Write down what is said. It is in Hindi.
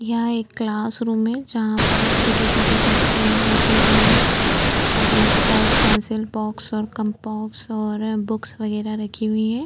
यहां एक क्लासरूम है जहां पर छोटे-छोटे बच्चे बैठे हुए हैं और इनके पास पैंसिल बॉक्स और कंपास और बुक्स वगेरा रखी हुई हैं।